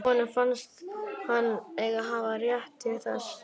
Honum fannst hann einn hafa rétt til þess.